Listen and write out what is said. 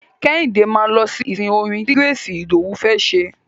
Kẹ́hìndé máa lọ sí ìsìn orin ti Grace Idowu fẹ́ ṣe.